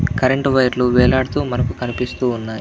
Current వైర్లు వేలాడుతూ మనకి కనిపిస్తూ ఉన్నాయి.